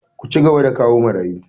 Ku cigaba da kawo marayu!